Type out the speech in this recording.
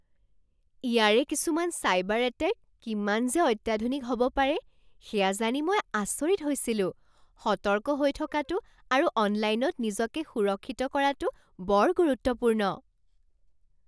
ইয়াৰে কিছুমান cyber attack কিমান যে অত্যাধুনিক হ'ব পাৰে সেয়া জানি মই আচৰিত হৈছিলোঁ। সতৰ্ক হৈ থকাটো আৰু অনলাইনত নিজকে সুৰক্ষিত কৰাটো বৰ গুৰুত্বপূৰ্ণ।